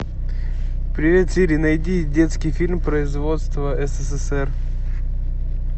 привет сири найди детский фильм производства ссср